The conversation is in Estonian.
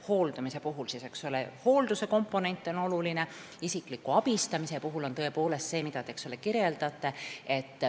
Hooldamise puhul on oluline hoolduse komponent, isikliku abistamise puhul aga tõepoolest see, mida te kirjeldasite.